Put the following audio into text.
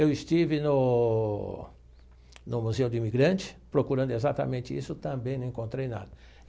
Eu estive no no Museu do Imigrante procurando exatamente isso, também não encontrei nada.